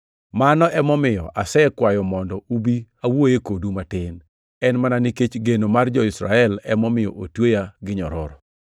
Mano emomiyo asekwayo mondo ubi awuoye kodu matin. En mana nikech geno mar jo-Israel emomiyo otweya gi nyororo.”